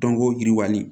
Dɔnko yiriwali